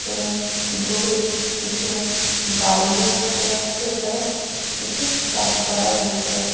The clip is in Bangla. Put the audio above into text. এবং দূরে কিছু বাড়ি ও দেখা যাচ্ছে। এছাড়া কিছু গাছপালাও দেখতে পাচ্ছি।